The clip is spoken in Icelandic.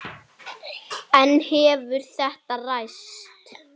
En hefur þetta ræst?